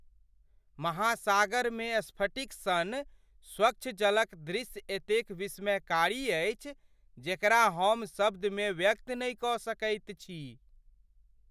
महासागरमे स्फटिक सन स्वच्छ जलक दृश्य एतेक विस्मयकारी अछि जेकरा हम शब्दमे व्यक्त नहि कऽ सकैत छी।